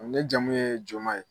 Ne jamu ye Joma ye.